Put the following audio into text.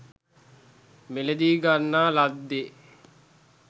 මිලදීගන්නා ලද්දේ